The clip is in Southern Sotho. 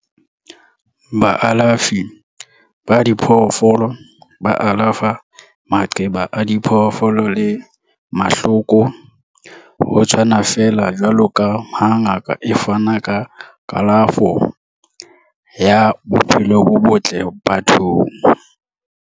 Baalafi ba diphoofolo ba alafa maqeba a diphoofolo le mahloko, ho tshwana feela jwaloka ha ngaka e fana ka kalafo ya bophelo bo botle bathong.